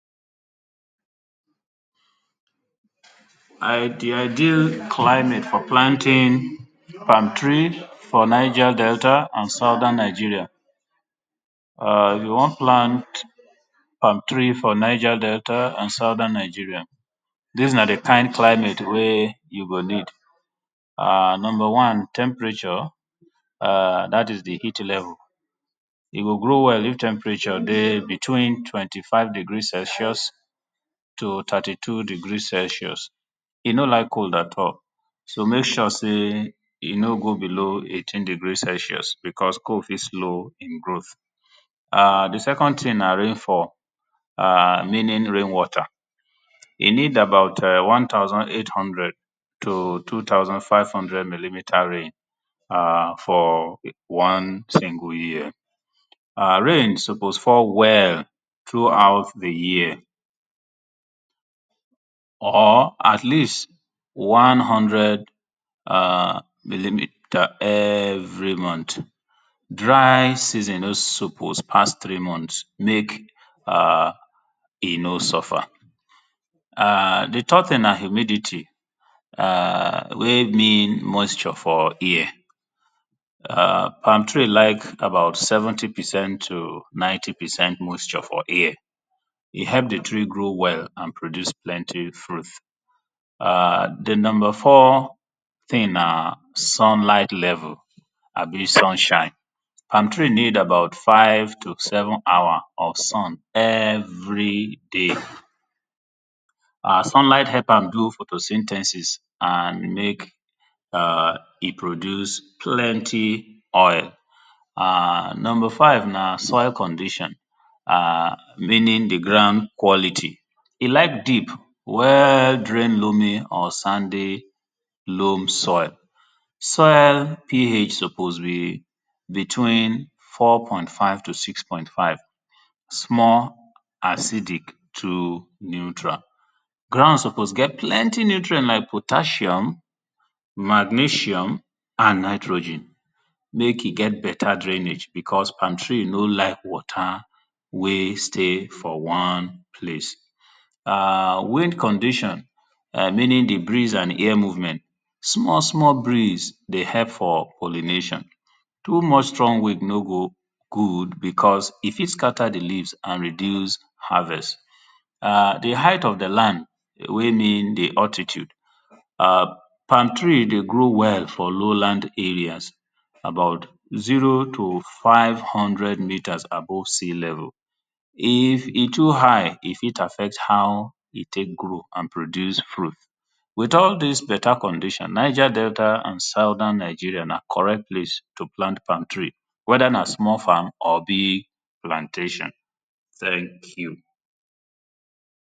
Na di ideal climate for planting palm tree for Niger Delta and southern Nigeria [urn] you wan plant palm tree for Niger Delta and southern Nigeria dis na di kind climate wen you go need. Number one temperature [urn] dat is di heat level, e go grow well if temperature dey between five degree Celsius to thirty two degree Celsius e no like cold at all so make sure sey e no go below eighteen degree Celsius because cold fit slow im growth. [urn] di second thing na rainfall meaning rain water, e need about one thousand eight hundred to two thousand five hundred millilitre rain [urn] for one single year, [urn] rain suppose fall well throughout di year or at least one hundred [urn] millilitre every month dry season no suppose pass three month make e no suffer [urn] di third thing na humidity [urn] wey mean moisture for air [urn] plam tree like about seventy per cent t o ninety per cent moisture for air, e help di tree grow well and produce plenty fruit. [urn] di number four thing na sun light level abi sunshine, palm tree need about five to seven hour of sun every day, [urn] sunlight help am build photosynthesis and make [urn] e produce plenty oil. [ urn ] number five na soil condition [urn] meaning di ground quality e like deep, well drained loamy or sandy loam soil. Soil ph suppose be between four point five to six point five, small acid through neutral. Ground suppose get plenty nutrient like potassium magnesium and nitrogen make e get better drainage because palm tree no like water wey stay for one place and wind condition which means di breeze and air movement, small small breeze dey help for pollination, too much strong wind no go good because e fit scatter di leaves and reduce harvest [urn] di height of di land wey mean di altitude [urn] palm tree dey grow well for low land areas about zero to five meters above sea level, if e too high e fit affect how e take grow and produce fruit with all dis better condition Niger Delta and southern Nigeria na correct place to plant plam tree, whether na small farm or big plantation thank you.